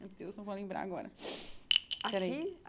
Meu Deus, não vou lembrar agora. Aqui pera aí